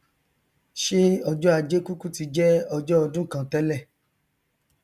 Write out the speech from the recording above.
ṣé ọjọ ajé kúkú ti jẹ ọjọ odún kan tẹlẹ